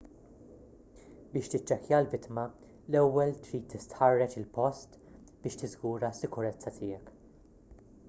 biex tiċċekkja l-vittma l-ewwel trid tistħarreġ il-post biex tiżgura s-sikurezza tiegħek